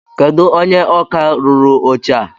Kedụ onye ọkà rụrụ oche a?